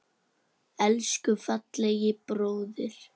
Elsku fallegi bróðir.